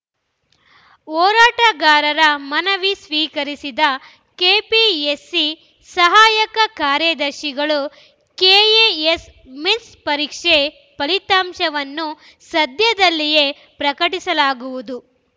ಹೋರಾಟಗಾರರ ಮನವಿ ಸ್ವೀಕರಿಸಿದ ಕೆಪಿಎಸ್ಸಿ ಸಹಾಯಕ ಕಾರ್ಯದರ್ಶಿಗಳು ಕೆಎಎಸ್‌ ಮಿಸ್ ಪರೀಕ್ಷೆ ಫಲಿತಾಂಶವನ್ನು ಸದ್ಯದಲ್ಲಿಯೇ ಪ್ರಕಟಿಸಲಾಗುವುದು